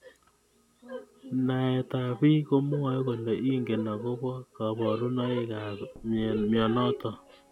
Naet ab bik komwae kole ingen akobo kaburunoik ab mnyenotok.